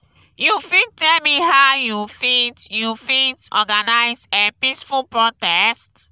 you fit tell me how you fit you fit organize a peaceful protest?